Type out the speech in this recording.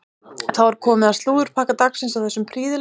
Þá er komið að slúðurpakka dagsins á þessum prýðilega laugardegi.